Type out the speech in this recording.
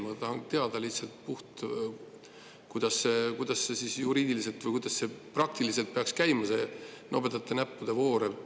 Ma tahan lihtsalt teada, kuidas juriidiliselt või praktiliselt peaks käima see nobedate näppude voor.